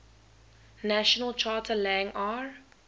national charter lang ar